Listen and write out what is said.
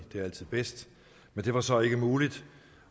det er altid bedst men det var så ikke muligt